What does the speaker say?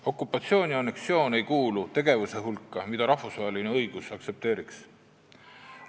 Okupatsioon ja anneksioon ei kuulu tegevuste hulka, mida rahvusvaheline õigus aktsepteeriks.